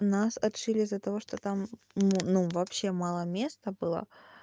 нас отшили из-за того что там ну вообще мало места было